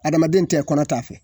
Adamaden tɛ kɔnɔ ta fɛ.